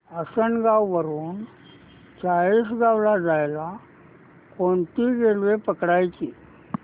आसनगाव वरून चाळीसगाव ला जायला कोणती रेल्वे पकडायची